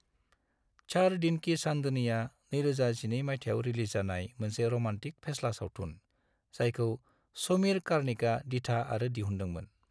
चार दिन की चांदनीआ इं 2012 माइथायाव रिलीज जानाय मोनसे र'मान्टिक फेस्ला सावथुन, जायखौ समीर कार्णिकआ दिथा आरो दिहुन्दोंमोन।